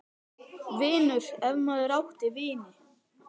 . vinur, ef maður átti vini.